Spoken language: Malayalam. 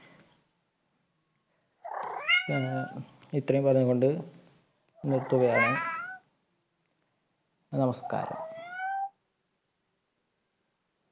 ഞാൻ ഇത്രയും പറഞ്ഞുകൊണ്ട് നിർത്തുകയാണ്. നമസ്കാരം.